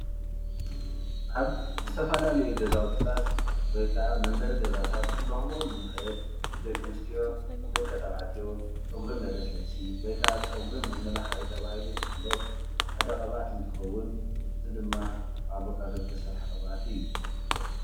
ኣብ ዝተፈለላዩ ገዛውቲታት ወይ ካዓ መንበሪ ገዛታት እንረኽቦ እንኽእል ደቂ ኣንስትዮ ደቂ ተባዕትዮ ፀጉሪ መለስለሲ ወይ ካዓ ፀጉሪ መመላኽዒ ተባሂሉ ዝፍለጥ ሓደ ቅብኣት እንትኸውን እዚ ድማ ካብ ኣቫካዶ ዝስራሕ ቅብኣት እዩ።